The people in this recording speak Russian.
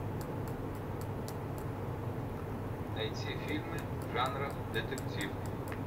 найти фильмы жанра детектив